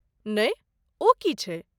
नहि ,ओ की छै?